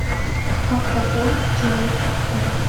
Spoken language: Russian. как пополнить чужой телефон